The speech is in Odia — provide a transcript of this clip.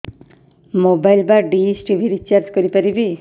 ମୋବାଇଲ୍ ବା ଡିସ୍ ଟିଭି ରିଚାର୍ଜ କରି ପାରିବି